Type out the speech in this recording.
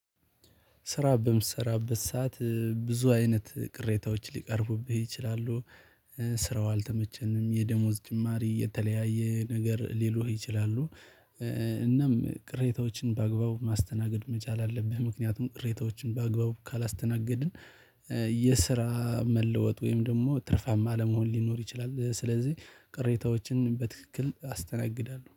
ስራ በምሰራበት ሰዓት ብዙ አይነት ቅሬታዎች ሊቀርቡብህ ይችላሉ። ስራው አልተመቸንም የደሞዝ ጭማሪ የተለያየ ነገር ሊሉህ ይችላሉ። እናም ቅሬታዎችን በአግባቡ ማስተናገድ መቻል አለብህ ምክንያቱም ቅሬታዎችን በአግባቡ ካላስተናገድን የስራ መለወጥ ወይም ደግሞ ትርፋማ ለመሆን ሊኖር ይችላል። ስለዚህ ቅሬታዎችን በትክክል አስተናግዳለሁ